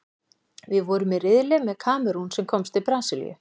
Við vorum í riðli með Kamerún, sem komst til Brasilíu.